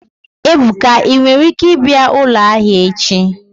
Ebuka, i nwere ike bia ulo ahia echi?